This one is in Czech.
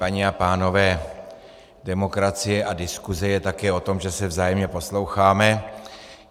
Paní a pánové, demokracie a diskuse je také o tom, že se vzájemně posloucháme.